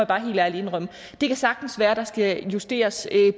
bare helt ærligt indrømme det kan sagtens være der skal justeres